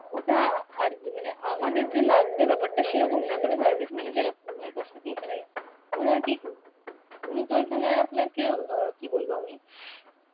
ওটা আর অ্যাঁ মানে আমাদের যে লাগবে ব্যাপারটা সেরকম না তবে service manager উনার কাছে গিয়ে মানে ওনার কি, উনি তো এখানে আপনাকে অ্যাঁ কি বলবো আমি